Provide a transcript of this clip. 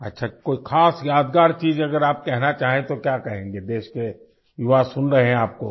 अच्छा कोई ख़ास यादगार चीज अगर आप कहना चाहें तो क्या कहेंगें देश के युवा सुन रहें हैं आपको